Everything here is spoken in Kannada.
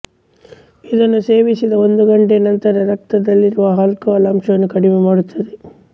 ಇದನ್ನು ಸೇವಿಸಿದ ಒಂದು ಗಂಟೆಯ ನಂತರ ರಕ್ತದಲ್ಲಿರುವ ಆಲ್ಕಹಾಲ್ ಅಂಶವನ್ನು ಕಡಿಮೆ ಮಾಡುತ್ತದೆ